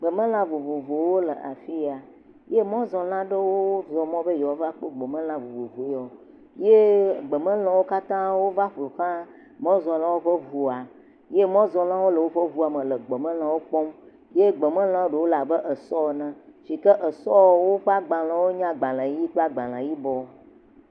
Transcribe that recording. Gbemelã vovovowo le afiya. Mɔzɔla aɖewo zɔmɔ be ye va kpɔ gbemelã vovovo ya eye gbemelã wo kata wova ƒoxla mɔzɔlawo ƒe ŋua ye mɔzɔlawo le woƒe ŋua me le gbemelãwo kpɔm ye gbemelãwo le abe esɔ ene, yike esɔ woƒe agbalewo wonye agbele ʋi kpleagbale yibɔ.